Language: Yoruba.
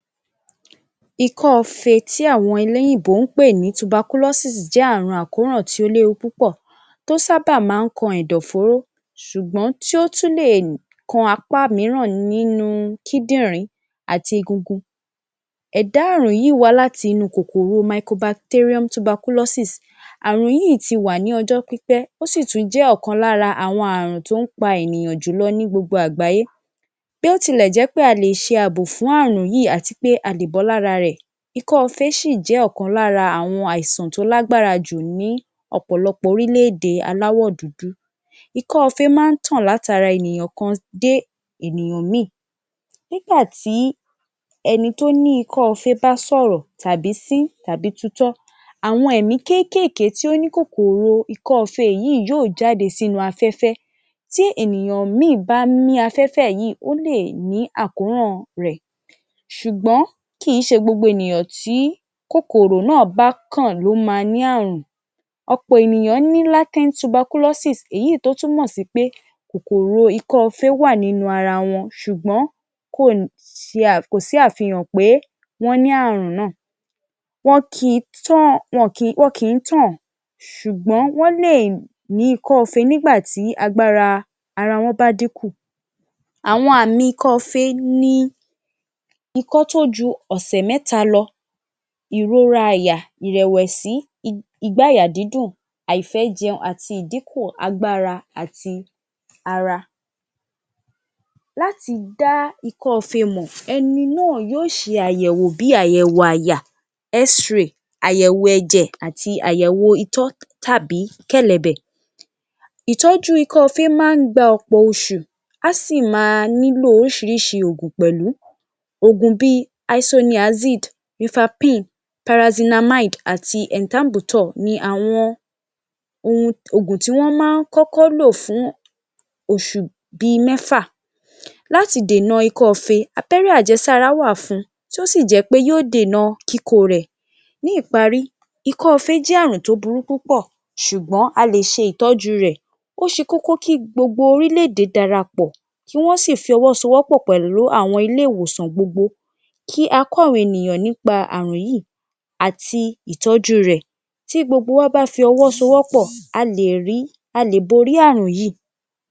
Ikọ́ọfe tí àwọn eléyìnbó ń pè ní tubakúlọ́sì tuberculosis jẹ́ àkóràn tí ó léwu púpọ̀ tí ó sábà máa ń kan ẹ̀dọ̀-fóóró ṣùgbọ́n tí ó tún lè kan apá mìíràn nínú kídìrín àti egungun. Ẹ̀dá àrùn yìí wá láti inú kòkòrò mycobacterium tuberculosis. Àrùn yìí ti wà láti ọjọ́ pípẹ́ ó sì tún jẹ́ ọ̀kan lára àwọn ààrùn tí ó ń pa àwọn ènìyàn jùlọ ní gbogbo àgbáyé. Bí ó tilẹ̀ jẹ́ wí pé a lè ṣe àbò fún ààrùn yìí àti pé a lè bọ́ ní ara rẹ̀, ikọ́ọfe ṣì jẹ́ ọ̀kan lára àwọn àìsàn tó lágbára jù ní ọ̀pọ̀lọpọ̀ orílẹ̀-èdè aláwọ̀ dúdú. Ikọ́ọfe máa ń tàn láti ara ènìyàn kan dé ènìyàn ìmíì. Nígbà tí ẹni tí ó ní ikọ́ọfe bá sọ̀rọ̀, tàbí sín, tàbí tutọ́ àwọn ẹ̀mí kéékèèké tí ó ní kòkòrò ikọ́ọfe yìí yóò jáde sínú afẹ́fẹ́, tí ènìyàn ìmíì bá mí afẹ́fẹ́ yìí ó lè ní àkóràn rẹ̀, ṣùgbọ́n kìí ṣe gbogbo ènìyàn tí kòkòrò náà bá kàn ló ma ní ààrùn, ọ̀pọ̀ eniyan ní latent tuberculosi èyí tó túmọ̀ sí wí pé kòkòrò ikọ́ọfe wà nínú ara wọn ṣùgbọ́n kò sí àfihàn pé wọ́n ní ààrùn náà. Wọn kìí tàn ṣùgbọ́n wọ́n lè ní ikọ́ọfe nígbà tí agbára ara wọn bá dínkù. Àwọn àmì ikọ́ọ́fe ni ikọ́ tí ó ju ọ̀sẹ̀ mẹ́ta lọ, ìrora àyà, ìrẹ̀wẹ̀sí, igbáàyà dídùn, àìfẹ́-jẹun, àdínkù agbára àti ara. Láti dá ikọ́ọfe mọ̀, ẹni náà yóò ṣe àyẹ̀wò bí i àyẹ̀wò àyà, X-RAY, àyẹ̀wò ẹ̀jẹ̀ àti àyẹ̀wò itọ́ tàbí kẹ̀lẹ̀bẹ̀, ìtọ́jú ikọ́ọfe máa ń gba ọ̀pọ̀ oṣù á sì máa nílò oríṣiríṣi oògùn pẹ̀lú. Oògùn bí i isoniazid, rifampin, pyrazinamide àti ethambutol ni àwọn oògùn tí wọ́n máa ń kọ́kọ́ lò fún oṣù bí i mẹ́fà. Láti dènà ikọ́ọfe, abẹ́rẹ́ àjẹsára wà fun tí yóò sì jẹ́ pé yóò dènà kíkó o rẹ̀. Ní ìparí, ikọ́ọfe jẹ́ ààrùn tó burú púpọ̀ ṣùgbọ́n a lè ṣe ìtọ́jú rẹ̀, ó ṣe kókó kí gbogbo orílẹ̀-ede darapọ̀ kí wọ́n sì fọwọ́ sowọ́pọ̀ pẹ̀lú àwọn ilé-ìwòsàn gbogbo kí a kọ́ àwọn ènìyàn nípa ààrùn yìí àti ìtọ́jú rẹ̀, tí gbogbo wa bá fi ọwọ́ sowọ́pọ̀ a lè borí ààrùn yìí.